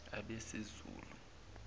abesizulu